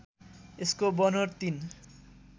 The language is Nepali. यसको बनोट ३